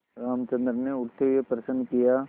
रामचंद्र ने उठते हुए प्रश्न किया